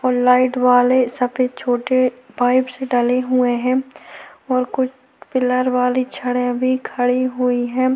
और लाइट वाले सफेद छोटे पाइपस से डाले हुए हैं और कुछ पिलर वाली छड़ी भी खड़ी हुई है।